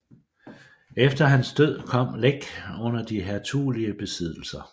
Efter hans død kom Læk under de hertugelige besiddelser